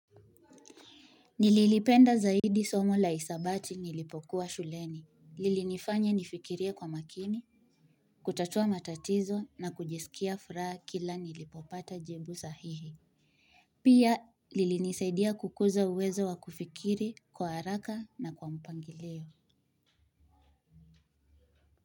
Nililipenda zaidi somo la hisabati nilipokuwa shuleni. Lilinifanya nifikirie kwa makini, kutatua matatizo na kujisikia furaha kila ninapopata jibu sahihi pia lilinisaidia kukuza uwezo wa kufikiri kwa haraka na kwa mpangilio.